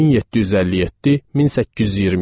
1757-1827.